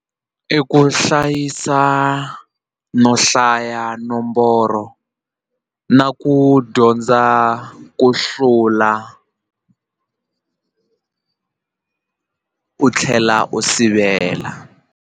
I ku hlayisa no hlaya nomboro na ku dyondza ku hlula u tlhela u sivela.